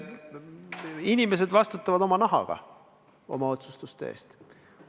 Inimesed vastutavad oma nahaga oma otsustuste eest.